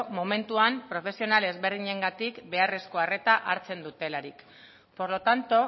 momentuan profesional ezberdinengatik beharrezko arreta hartzen dutelarik por lo tanto